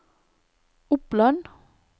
Oppland